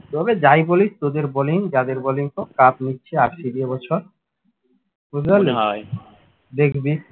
তবে যাই বলিস তোদের bowling যাদের bowling তো cup নিচ্ছে RCB এ বছর দেখবি।